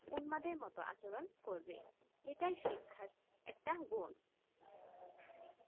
উন্মাদ মতো আচরণ করবে এটা শিক্ষা একটা গুন্